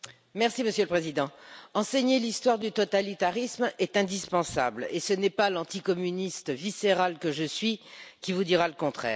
Monsieur le Président, enseigner l'histoire du totalitarisme est indispensable, et ce n'est pas l'anticommuniste viscérale que je suis qui vous dira le contraire.